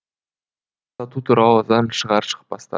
сату туралы заң шығар шықпастан